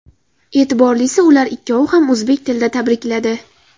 E’tiborlisi – ular ikkovi ham o‘zbek tilida tabrikladi.